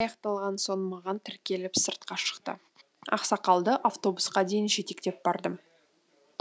аяқталған соң маған тіркеліп сыртқа шықты ақсақалды автобусқа дейін жетектеп бардым